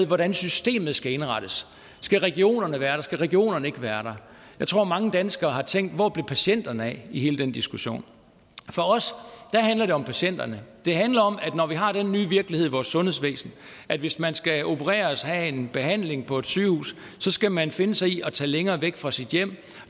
hvordan systemet skal indrettes skal regionerne være der eller skal regionerne ikke være der jeg tror mange danskere har tænkt hvor blev patienterne af i hele den diskussion for os handler det om patienterne det handler om at når vi har den nye virkelighed i vores sundhedsvæsen at hvis man skal opereres have en behandling på et sygehus så skal man finde sig i at tage længere væk fra sit hjem